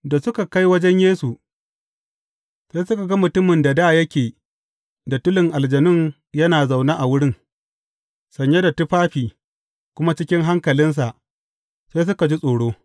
Da suka kai wajen Yesu, sai suka ga mutumin da dā yake da tulin aljanun yana zaune a wurin, sanye da tufafi kuma cikin hankalinsa, sai suka ji tsoro.